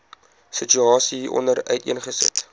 situasie hieronder uiteengesit